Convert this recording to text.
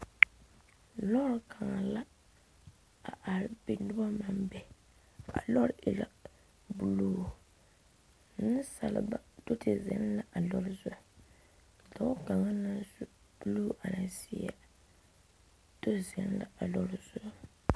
Lɔɛ kaŋ la a are be noba naŋ be a lɔre e la buluu nensaaleba do te zeŋ la a lɔre zu dɔɔ kaŋ naŋ su buluu a e zeɛ do zeŋ la a lɔre zu